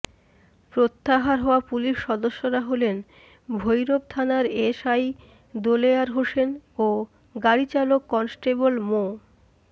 প্রত্যাহার হওয়া পুলিশ সদস্যরা হলেন ভৈরব থানার এসআই দেলোয়ার হোসেন ও গাড়িচালক কনস্টেবল মো